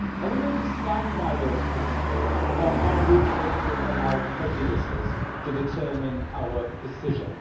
Are we going to stand by those principles, or are we going to allow prejudices to determine our decision?